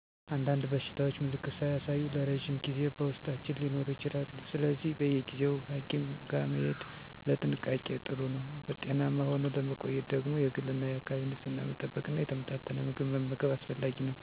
አንዳንድ በሽታዎች ምልክት ሳያሳዩ ለረዥም ጊዜ በውስጣችን ሊኖሩ ይችላሉ። ስለዚህ በየጊዜው ሀኪም ጋር መሄድ ለጥንቃቄ ጥሩ ነው። ጤናማ ሆኖ ለመቆየት ደግሞ የግልና የአካባቢን ንፅህና መጠበቅና የተመጣጠነ ምግብ መመገብ አስፈላጊ ነው።